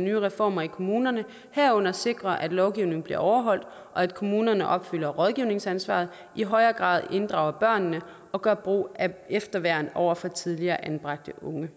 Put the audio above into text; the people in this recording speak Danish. nye reformer i kommunerne herunder sikre at lovgivning bliver overholdt og at kommunerne opfylder rådgivningsansvaret i højere grad inddrager børnene og gør brug af efterværn over for tidligere anbragte unge